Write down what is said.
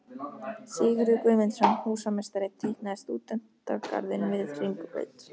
Sigurður Guðmundsson, húsameistari, teiknaði stúdentagarðinn við Hringbraut.